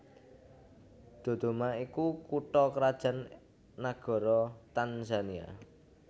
Dodoma iku kutha krajan nagara Tanzania